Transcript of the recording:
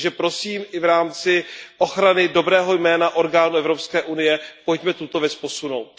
Prosím, i v rámci ochrany dobrého jména orgánů Evropské unie, pojďme tuto věc posunout.